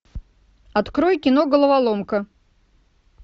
открой кино головоломка